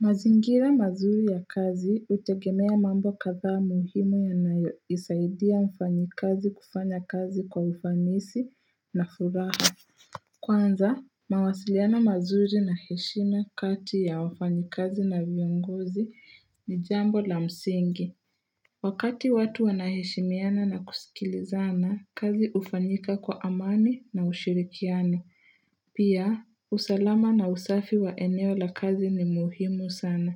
Mazingira mazuri ya kazi hutegemea mambo kadhaa muhimu yanayoisaidia mfanyikazi kufanya kazi kwa ufanisi na furaha Kwanza, mawasiliano mazuri na heshima kati ya wafanyikazi na viongozi ni jambo la msingi Wakati watu wanaheshimiana na kusikilizana kazi ufanyika kwa amani na ushirikiano Pia, usalama na usafi wa eneo la kazi ni muhimu sana.